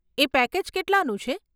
એ package કેટલાનું છે?